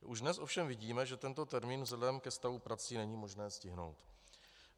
Už dnes ovšem vidíme, že tento termín vzhledem ke stavu prací není možné stihnout.